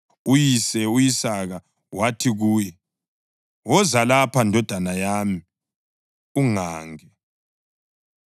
Uyise u-Isaka wathi kuye, “Woza lapha, ndodana yami, ungange.”